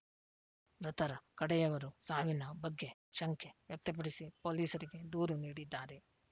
ಮೃತರ ಕಡೆಯವರು ಸಾವಿನ ಬಗ್ಗೆ ಶಂಕೆ ವ್ಯಕ್ತಪಡಿಸಿ ಪೊಲೀಸರಿಗೆ ದೂರು ನೀಡಿದ್ದಾರೆ